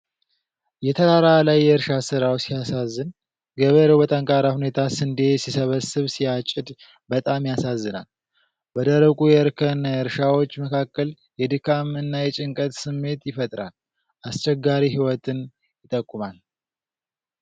የተራራ ላይ የእርሻ ስራው ሲያሳዝን ! ገበሬው በጠንካራ ሁኔታ ስንዴ ሲሰበስብ ሲያጭድ በጣም ያሳዝናል!። በደረቁ የእርከን እርሻዎች መካከል የድካም እና የጭንቀት ስሜት ይፈጥራል። አስቸጋሪ ሕይወትን ይጠቁማል።